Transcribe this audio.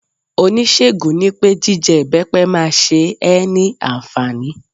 Oníṣègùn nipé jije ibepe ma se é ni ànfàní